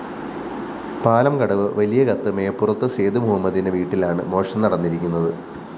പാലംകടവ് വലിയകത്ത് മേപ്പുറത്ത് സേതു മുഹമ്മദിന്റെ വീട്ടിലാണ് മോഷണം നടന്നിരിക്കുന്നത്